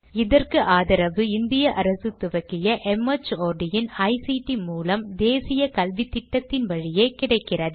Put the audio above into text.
இதற்கு ஆதரவு இந்திய அரசு துவக்கிய மார்ட் இன் ஐசிடி மூலம் தேசிய கல்வித்திட்டத்தின் வழியே கிடைக்கிறது